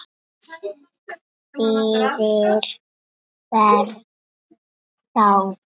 Fyrir hvern þá?